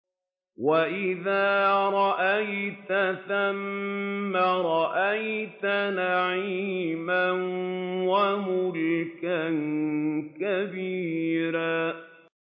وَإِذَا رَأَيْتَ ثَمَّ رَأَيْتَ نَعِيمًا وَمُلْكًا كَبِيرًا